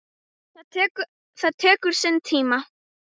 Það tekur sinn tíma.